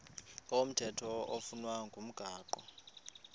komthetho oflunwa ngumgago